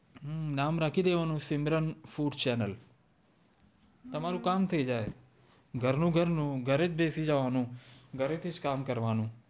હમ નામ રાખી દેવાનું સિમરન ફૂડ ચેનલ તમારું કામ થઈ જાય ઘર નું ઘર નું ઘરે જ બેસી જવાંનું ઘરે થીજ કામ કર વાનું